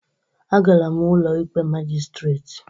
Agara m Ụlọikpe Magịstretị